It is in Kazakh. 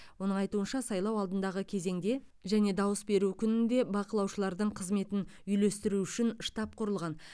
оның айтуынша сайлау алдындағы кезеңде және дауыс беру күнінде бақылаушылардың қызметін үйлестіру үшін штаб құрылған